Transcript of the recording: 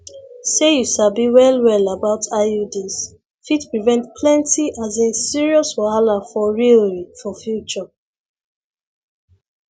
say you sabi well well about iuds fit prevent plenty asin serious wahala for realrii for future